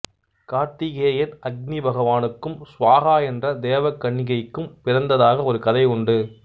கார்த்திகேயன் அக்கினி பகவானுக்கும் சுவாகா என்ற தேவகன்னிகைக்கும் பிறந்ததாக ஒரு கதை உண்டு